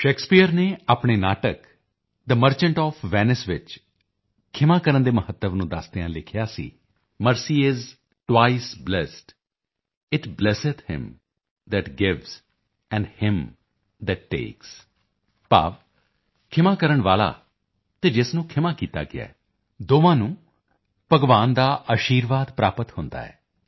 Shakespeare ਨੇ ਆਪਣੇ ਨਾਟਕ ਥੇ ਮਰਚੈਂਟ ਓਐਫ ਵੇਨਾਈਸ ਵਿੱਚ ਖ਼ਿਮਾ ਕਰਨ ਦੇ ਮਹੱਤਵ ਨੂੰ ਦੱਸਦਿਆਂ ਲਿਖਿਆ ਸੀ mercy is twice blest it blesseth him that gives and him that takes ਭਾਵ ਖ਼ਿਮਾ ਕਰਨ ਵਾਲਾ ਅਤੇ ਜਿਸ ਨੂੰ ਖ਼ਿਮਾ ਕੀਤਾ ਗਿਆ ਦੋਹਾਂ ਨੂੰ ਭਗਵਾਨ ਦਾ ਅਸ਼ੀਰਵਾਦ ਪ੍ਰਾਪਤ ਹੁੰਦਾ ਹੈ